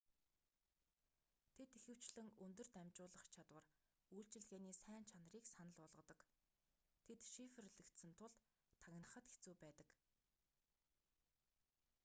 тэд ихэвчлэн өндөр дамжуулах чадвар үйлчилгээний сайн чанарыг санал болгодог тэд шифрлэгдсэн тул тагнахад хэцүү байдаг